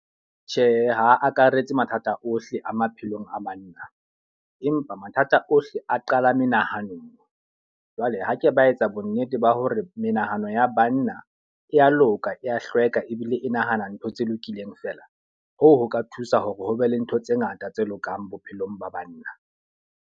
Tjhe, ha akaretse mathata ohle a maphelong a banna. Empa mathata ohle a qala menahano. Jwale ha ke ba etsa bo nnete ba hore menahano ya banna e ya loka ya hlweka, ebile e nahana ntho tse lokileng fela. Hoo ho ka thusa hore ho be le ntho tse ngata tse lokang bophelong ba banna.